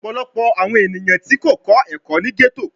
Ọpọlọpọ awọn eniyan ti ko kọ ẹkọ ni ghetto